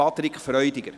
Patrick Freudiger.